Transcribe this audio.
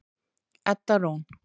Edda Rún.